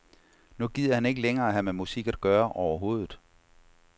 Nu gider han ikke længere have med musik at gøre overhovedet.